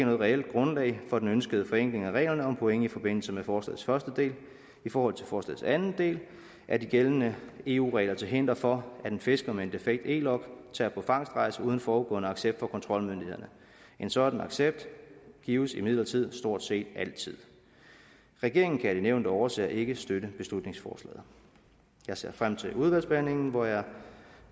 reelt grundlag for den ønskede forenkling af reglerne om point i forbindelse med forslagets første del i forhold til forslagets anden del er de gældende eu regler til hinder for at en fisker med en defekt e log tager på fangstrejse uden forudgående accept fra kontrolmyndighederne en sådan accept gives imidlertid stort set altid regeringen kan af de nævnte årsager ikke støtte beslutningsforslaget jeg ser frem til udvalgsbehandlingen hvor jeg